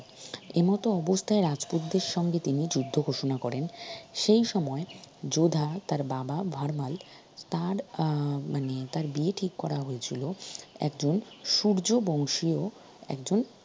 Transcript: এমত অবস্থায় রাজপুতদের সঙ্গে তিনি যুদ্ধ ঘোষনা করেন সেই সময় যোধা তার বাবা ভারমাল তার আহ মানে তার বিয়ে ঠিক করা হয়েছিল একজন সূর্য বংশীয় একজন